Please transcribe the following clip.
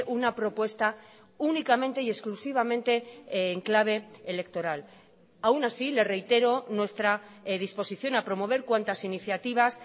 una propuesta únicamente y exclusivamente en clave electoral aun así le reitero nuestra disposición a promover cuantas iniciativas